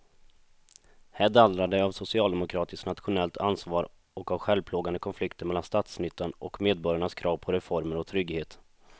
Här dallrar det av socialdemokratiskt nationellt ansvar och av självplågande konflikter mellan statsnyttan och medborgarnas krav på reformer och trygghet.